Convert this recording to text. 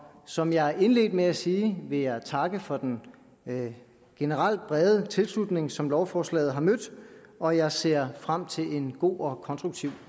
som jeg indledte med at sige vil jeg takke for den generelt brede tilslutning som lovforslaget har mødt og jeg ser frem til en god og konstruktiv